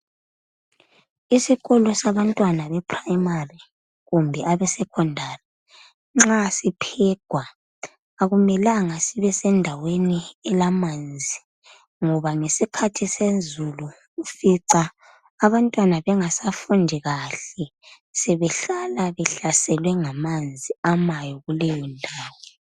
Isikolo sabantwana beprimary kumbe abesecondary nxa siphegwa akumelanga sibe sendaweni elamanzi ngoba ngesikhathi sezulu ufica abantwana bengasafundi kahle behlala behlaselwe ngamanzi amayo kuleyondawo.